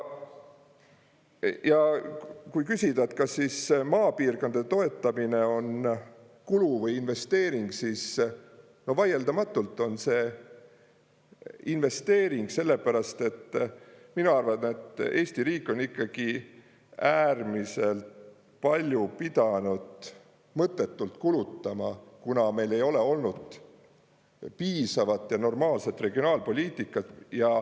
Ja kui küsida, kas siis maapiirkondade toetamine on kulu või investeering, siis vaieldamatult on see investeering, sellepärast et mina arvan, et Eesti riik on ikkagi äärmiselt palju pidanud mõttetult kulutama, kuna meil ei ole olnud piisavat ja normaalset regionaalpoliitikat.